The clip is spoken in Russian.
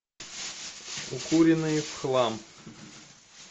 укуренные в хлам